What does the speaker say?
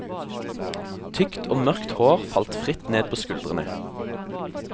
Tykt og mørkt hår falt fritt ned på skuldrene.